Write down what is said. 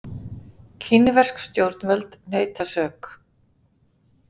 Kínversk stjórnvöld neita sök